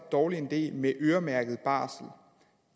dårlig en idé med øremærket barsel